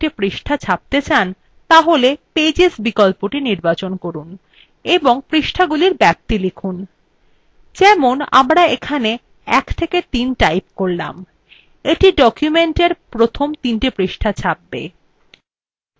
আপনি যদি পরপর কযেকটি পৃষ্ঠা ছাপতে চান তাহলে pages বিকল্পটি নির্বাচন করুন এবং পৃষ্ঠাগুলির ব্যাপ্তি লিখুন যেমনআমরা এখানে 13 type করলাম এটি document প্রথম তিনটি পৃষ্টা ছাপবে